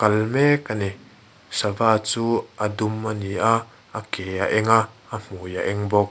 mek a ni sava chu a dum a ni a a ke a eng a a hmui a eng bawk.